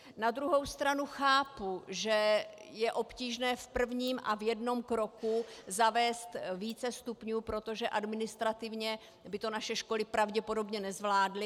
Na druhou stranu chápu, že je obtížné v prvním a v jednom kroku zavést více stupňů, protože administrativně by to naše školy pravděpodobně nezvládly.